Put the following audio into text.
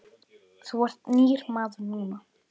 Þú ert nýr maður núna.